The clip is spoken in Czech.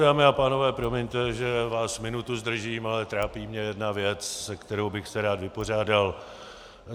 Dámy a pánové, promiňte, že vás minutu zdržím, ale trápí mě jedna věc, se kterou bych se rád vypořádal.